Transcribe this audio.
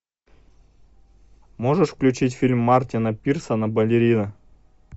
можешь включить фильм мартина пирсена балерина